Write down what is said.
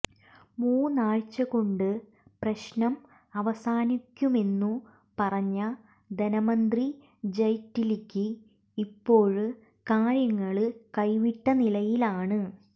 മൂന്നാഴ്ചകൊണ്ട് പ്രശ്നം അവസാനിക്കുമെന്നു പറഞ്ഞ ധനമന്ത്രി ജയ്റ്റ്ലിക്ക് ഇപ്പോള് കാര്യങ്ങള് കൈവിട്ടനിലയിലാണ്